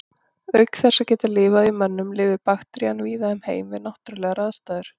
Auk þess að geta lifað í mönnum lifir bakterían víða um heim við náttúrulegar aðstæður.